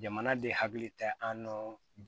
Jamana de hakili tɛ an nɔ